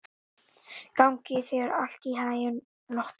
Gangi þér allt í haginn, Lotta.